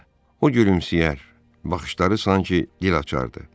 O gülümsəyər, baxışları sanki dil açardı.